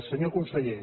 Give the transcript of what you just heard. senyor conseller